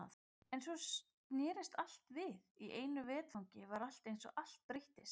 En svo snerist allt við, í einu vetfangi var eins og allt breyttist.